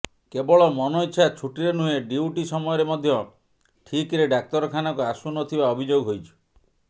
କେବଳ ମନଇଚ୍ଛା ଛୁଟିରେ ନୁହେଁ ଡ୍ୟୁଟି ସମୟରେ ମଧ୍ୟ ଠିକ୍ରେ ଡାକ୍ତରଖାନାକୁ ଆସୁ ନ ଥିବା ଅଭିଯୋଗ ହେଉଛି